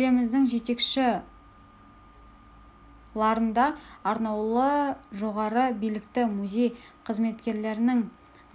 еліміздің жетекші ларында арнаулы жоғары білікті музей қызметкерлерін